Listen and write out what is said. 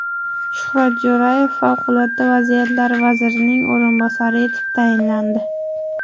Shuhrat Jo‘rayev Favqulodda vaziyatlar vazirining o‘rinbosari etib tayinlandi.